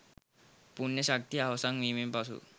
පුණ්‍ය ශක්තිය අවසන් වීමෙන් පසු